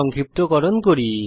সংক্ষিপ্তকরণ করি